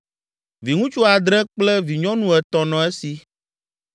Viŋutsu adre kple vinyɔnu etɔ̃ nɔ esi,